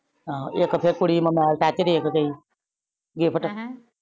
ਹਾਂ ਇਕ ਤੇ ਕੁੜੀ ਮੋਬਾਈਲ ਟਚ ਦੇਕੇ ਗਈ ਗਿਫ਼੍ਟ।